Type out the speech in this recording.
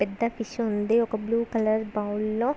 పెద్ద ఫిష్ ఉంది ఒక బ్లూ కలర్ బౌల్ లో.